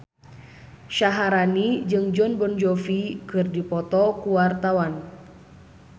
Syaharani jeung Jon Bon Jovi keur dipoto ku wartawan